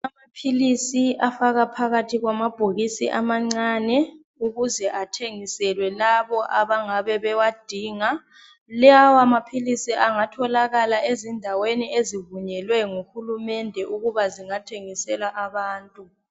Amaphilisi afakwa phakathi kwamabhokisi amancane ukuze athengiselwe labo abangabe bewadinga. Lawa maphilisi angatholakala ezindaweni ezivunyelwe nguhulumende ukuba zingathengisela abantu.